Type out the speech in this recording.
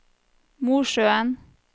Mosjøen